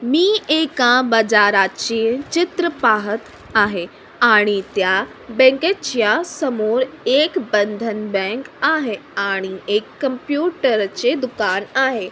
मी एका बाजाराचे चित्र पाहत आहे आणि त्या बँकेच्या समोर एक बंधन बँक आहे आणि एक कंम्पुटरचे दुकान आहे.